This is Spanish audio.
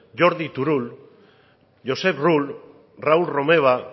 jordi turull josep rull raúl romeva